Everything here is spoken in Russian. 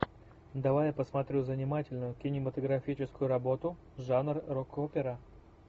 давай я посмотрю занимательную кинематографическую работу жанр рок опера